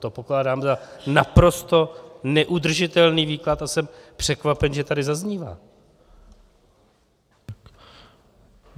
To pokládám za naprosto neudržitelný výklad a jsem překvapen, že tady zaznívá.